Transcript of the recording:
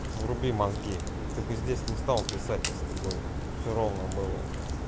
вруби мозги ты бы здесь не стал писать если бы все ровно было у тебя